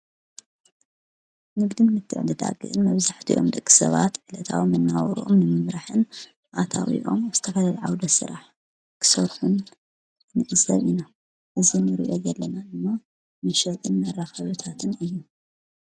ንግድን ምትዕድዳግን መብዛሕቶኦም ደቂ ሰባት ዕለታዊ መነባብሮኦም ንምምራሕን ኣታዊኦም ዝተፈላለዩ ዓውደ ስራሕ ክሰርሑን ንዕዘብ ኢና። እዚ ንሪኦ ዘለና ድማ መሸጥን መራከብታትን እዩ።